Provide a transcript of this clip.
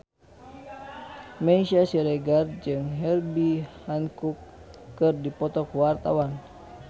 Meisya Siregar jeung Herbie Hancock keur dipoto ku wartawan